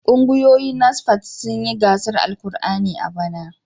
Kungiyoyin NASFAT sun yi gasar karatun Alkur'ani a bana.